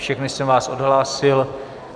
Všechny jsem vás odhlásil.